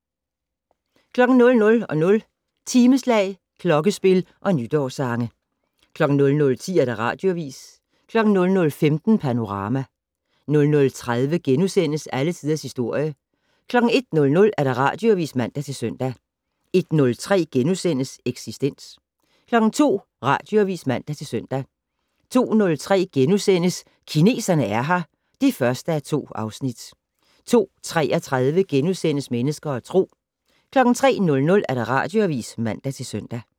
00:00: Timeslag, klokkespil og nytårssange 00:10: Radioavis 00:15: Panorama 00:30: Alle Tiders Historie * 01:00: Radioavis (man-søn) 01:03: Eksistens * 02:00: Radioavis (man-søn) 02:03: Kineserne er her (1:2)* 02:33: Mennesker og Tro * 03:00: Radioavis (man-søn)